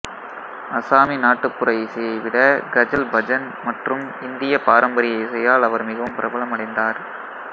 அஸ்ஸாமி நாட்டுப்புற இசையை விட கஜல் பஜன் மற்றும் இந்திய பாரம்பரிய இசையால் அவர் மிகவும் பிரபலமடைந்தார்